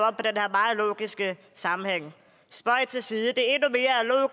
meget logiske sammenhæng spøg til side det